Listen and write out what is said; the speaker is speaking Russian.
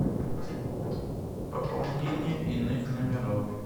пополнение иных номеров